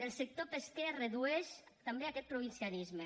el sector pesquer es redueix també a aquest provincianisme